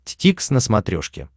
дтикс на смотрешке